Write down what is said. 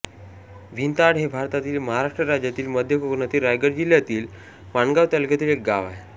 भिंताड हे भारतातील महाराष्ट्र राज्यातील मध्य कोकणातील रायगड जिल्ह्यातील माणगाव तालुक्यातील एक गाव आहे